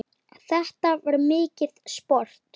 Þetta var mikið sport.